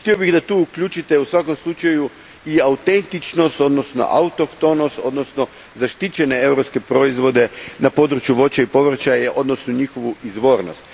Htio bih da tu uključite, u svakom slučaju, i autentičnost, odnosno autohtonost, odnosno zaštićene europske proizvode na području voća i povrća, odnosno njihovu izvornost.